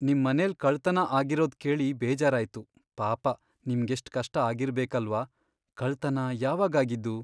ನಿಮ್ಮನೆಲ್ ಕಳ್ತನ ಆಗಿರೋದ್ಕೇಳಿ ಬೇಜಾರಾಯ್ತು, ಪಾಪ ನಿಮ್ಗೆಷ್ಟ್ ಕಷ್ಟ ಆಗಿರ್ಬೇಕಲ್ವಾ.. ಕಳ್ತನ ಯಾವಾಗಾಗಿದ್ದು?